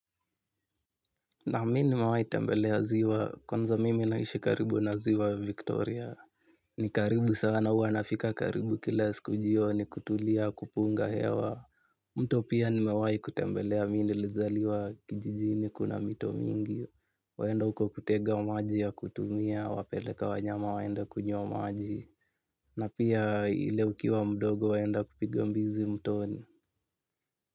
Na mimi nimewahi tembelea ziwa, kwanza mimi naishi karibu na ziwa Victoria. Ni karibu sana huwa nafika karibu, kila siku jioni kutulia, kupunga hewa. Mto pia nimewahi kutembelea. Mimi nilizaliwa, kijijini kuna mito mingi. Waenda uko kutega maji ya kutumia, wapeleka wanyama waenda kunywa maji. Na pia ile, ukiwa mdogo waenda, kupiga mbizi mtoni.